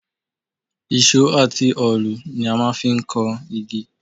Ìṣó àti òòlù ni a máa ń fi ń kan igi